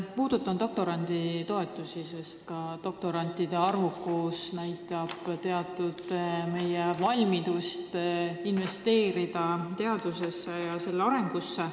Mina puudutan doktoranditoetusi, sest ka doktorandite arv näitab teatud moel meie valmidust investeerida teadusesse ja selle arendamisse.